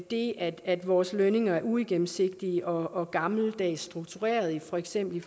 det at vores lønninger er uigennemsigtige og gammeldags struktureret for eksempel